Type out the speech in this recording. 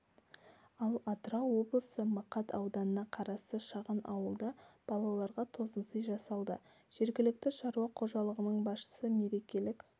ал атырау облысы мақат ауданына қарасты шағын ауылда балаларға тосынсый жасалды жергілікті шаруа қожалығының басшысы мерекелік